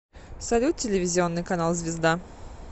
салют телевизионный канал звезда